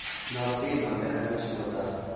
na u pima mbekanyamishumo dza